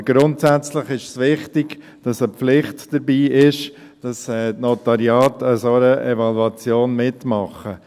Aber grundsätzlich ist es wichtig, dass eine Pflicht dabei ist, dass die Notariate bei einer solchen Evaluation mitmachen.